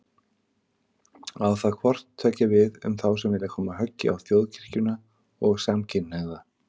Á það hvort tveggja við um þá sem vilja koma höggi á Þjóðkirkjuna og samkynhneigða.